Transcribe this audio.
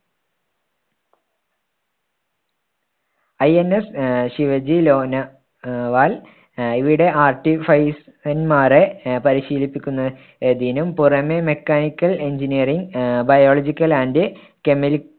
INS ah Shivaji Lonavala ah ah ഇവിടെ മാരെ ah പരിശീലിപ്പിക്കുന്ന~തിനും പുറമെ mechanical engineering ah biological and chemi ~